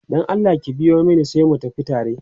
Dan Allah ki biyo Mani sai mu tafi tare